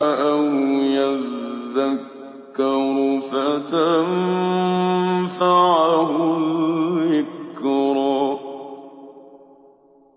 أَوْ يَذَّكَّرُ فَتَنفَعَهُ الذِّكْرَىٰ